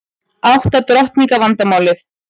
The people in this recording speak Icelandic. Átta drottninga vandamálið